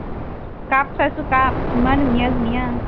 cup চাইছো cup, ইমান ধুনীয়া ধুনীয়া